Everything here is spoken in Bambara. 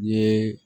N ye